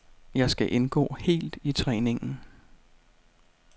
Jeg skal indgå helt i træningen.